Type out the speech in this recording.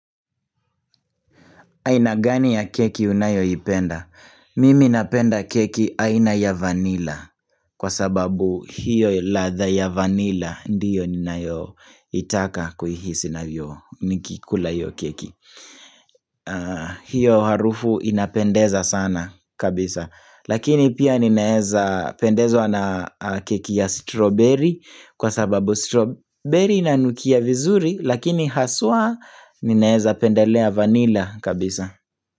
Aina gani ya keki unayo ipenda? Mimi napenda keki aina ya vanilla kwa sababu hiyo latha ya vanilla ndiyo ninayo itaka kuihisi navyo nikiikula iyo keki hiyo harufu inapendeza sana kabisa lakini pia ninaeza pendezo na keki ya strawberry kwa sababu strawberry inanukia vizuri lakini haswa ninaeza pendelea vanilla kabisa.